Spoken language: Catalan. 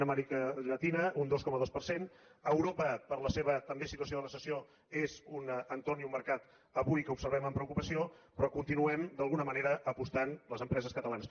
a amèrica llatina un dos coma dos per cent europa per la seva també situació de recessió és un entorn i un mercat avui que observem amb preocupació però hi continuem d’alguna manera apostant les empreses catalanes